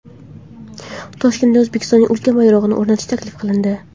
Toshkentda O‘zbekistonning ulkan bayrog‘ini o‘rnatish taklif qilindi.